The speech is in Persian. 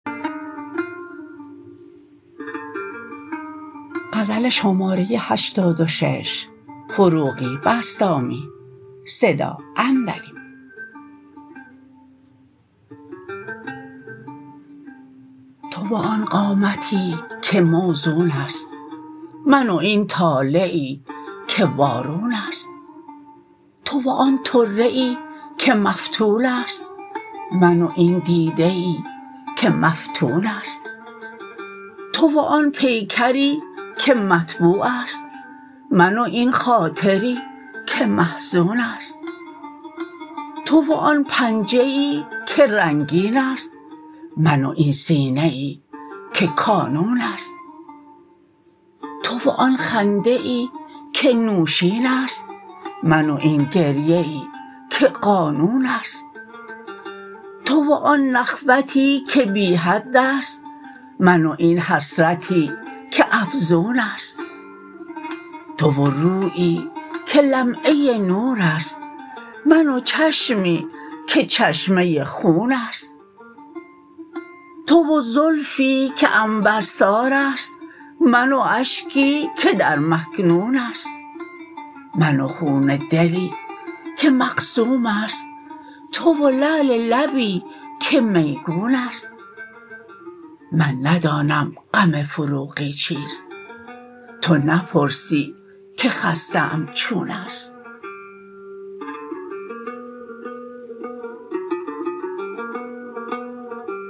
تو و آن قامتی که موزون است من و این طالعی که وارون است تو و آن طره ای که مفتول است من و این دیده ای که مفتون است تو و آن پیکری که مطبوع است من و این خاطری که محزون است تو و آن پنجه ای که رنگین است من و این سینه ای که کانون است تو و آن خنده ای که نوشین است من و این گریه ای که قانون است تو و آن نخوتی که بی حد است من و این حسرتی که افزون است تو و رویی که لمعه نور است من و چشمی که چشمه خون است تو و زلفی که عنبر ساراست من و اشکی که در مکنون است من و خون دلی که مقسوم است تو و لعل لبی که میگون است من ندانم غم فروغی چیست تو نپرسی که خسته ام چون است